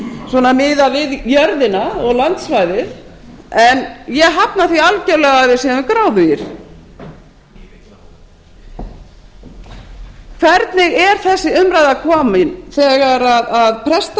svona miðað við jörðina og landsvæðið en ég hafna því algerlega að við séum gráðugir hvernig er þessi umræða komin þegar prestar